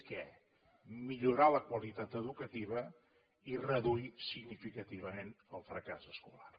què millorar la qualitat educativa i reduir significativament el fracàs escolar